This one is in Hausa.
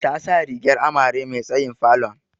Ta sa rigar amare me tsayin falon.